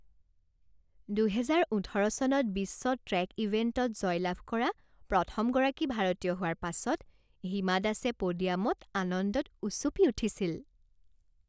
দুহেজাৰ ওঠৰ চনত বিশ্ব ট্ৰেক ইভেণ্টত জয়লাভ কৰা প্ৰথমগৰাকী ভাৰতীয় হোৱাৰ পাছত হিমা দাসে প'ডিয়ামত আনন্দত উচুপি উঠিছিল।